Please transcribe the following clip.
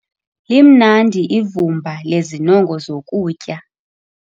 Limnandi ivumba lezinongo zokutya.